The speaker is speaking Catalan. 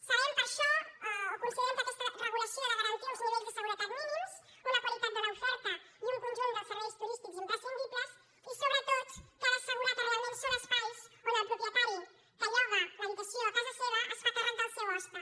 sabem per això o considerem que aquesta regu·lació ha de garantir uns nivells de seguretat mínims una qualitat de l’oferta i un conjunt dels serveis turís·tics imprescindibles i sobretot que ha d’assegurar que realment són espais on el propietari que lloga l’habi·tació a casa seva es fa càrrec del seu hoste